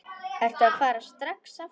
Ertu að fara strax aftur?